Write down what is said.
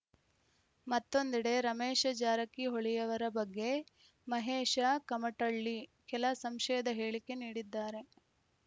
ಮತ್ತೊಂದೆಡೆ ರಮೇಶ ಜಾರಕಿಹೊಳಿಯವರ ಬಗ್ಗೆ ಮಹೇಶ ಕುಮಟಳ್ಳಿ ಕೆಲ ಸಂಶಯದ ಹೇಳಿಕೆ ನೀಡಿದ್ದಾರೆ